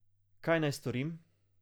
Kaj naj storim?